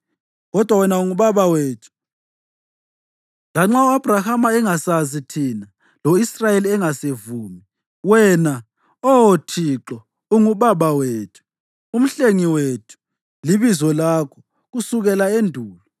Kodwa wena unguBaba wethu, lanxa u-Abhrahama engasazi thina lo-Israyeli engasivumi; wena, Oh Thixo, unguBaba wethu, uMhlengi wethu libizo lakho kusukela endulo.